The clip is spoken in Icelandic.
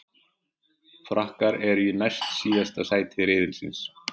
Frakkar eru í næst síðasta sæti riðilsins.